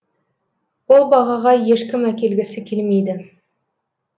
ол бағаға ешкім әкелгісі келмейді